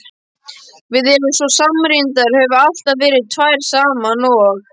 Við erum svo samrýmdar, höfum alltaf verið tvær saman og.